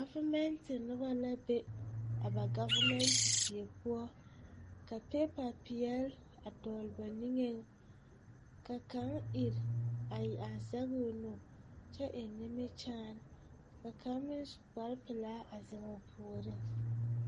Gavimɛnte noba la be a ba gavimɛnte die poɔ ka piipa peɛl a dɔgle ba nigeŋ ka kaŋ ire a zɛge o nu kyɛ eŋ nimikyaane ka kaŋ meŋ su kpare pilaa a ziŋ o puoriŋ.